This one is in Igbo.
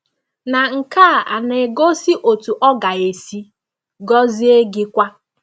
Na nke a na-egosi otú ọ ga-esi gọzie gị kwa.